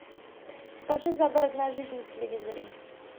покажи загородная жизнь на телевизоре